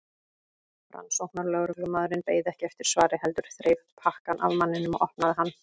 Rannsóknarlögreglumaðurinn beið ekki eftir svari heldur þreif pakkann af manninum og opnaði hann.